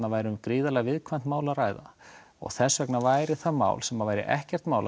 væri um gríðarlega viðkvæmt mál að ræða og þess vegna væri það mál sem væri ekkert mál að